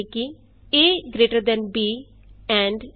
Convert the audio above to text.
A B A C logical and easy